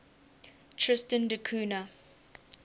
tristan da cunha